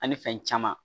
Ani fɛn caman